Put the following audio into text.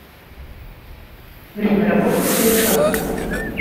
время работы стрелка